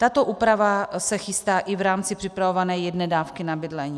Tato úprava se chystá i v rámci připravované jedné dávky na bydlení.